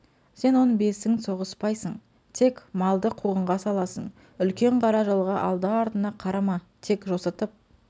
сен он бесің соғыспайсың тек малды қуғынға саласың үлкен қара жолға алды-артыңа қарама тек жосытып